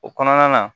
O kɔnɔna na